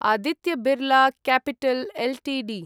Aditya Birla capital Ltd